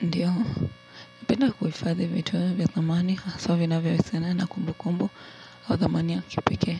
Ndiyo, napenda kuifadhi vitu vya thamani, haswa vinavyo husiana na kumbukumbu au thamani ya kipekee.